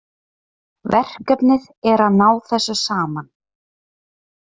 Verkefnið er að ná þessu saman